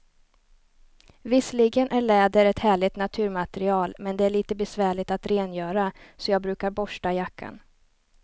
Visserligen är läder ett härligt naturmaterial, men det är lite besvärligt att rengöra, så jag brukar borsta jackan.